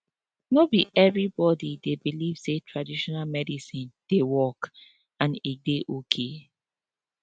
no be everybody dey believe say traditional medicine dey work and e dey okay